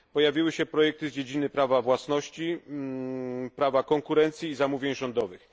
Pojawiły się projekty z dziedziny prawa własności, prawa konkurencji i zamówień rządowych.